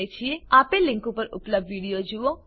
આપેલ લીંક પર ઉપલબ્ધ વિડીયો જુઓ